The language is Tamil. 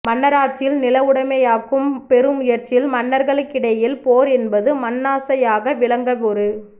மன்னராட்சியில் நிலவுடைமையாக்கும் பெருமுயற்சியில் மன்னர்களுக்கிடையில் போர் என்பது மண்ணாசையாக விளங்க ஒரு